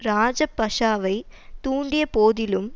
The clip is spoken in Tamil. இராஜபஷுவை தூண்டிய போதிலும்